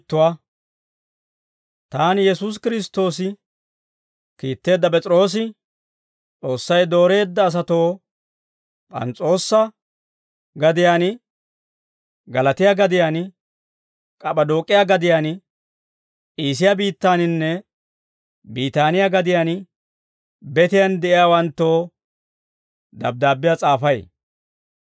Taani, Yesuusi Kiristtoosi kiitteedda P'es'iroosi, S'oossay dooreedda asatoo P'ans's'oosa gadiyaan, Galaatiyaa gadiyaan, K'ap'p'adook'iyaa gadiyaan, Iisiyaa biittaaninne Biitaaniyaa gadiyaan betiyaan de'iyaawanttoo dabddaabbiyaa s'aafay.